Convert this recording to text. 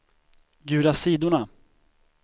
gula sidorna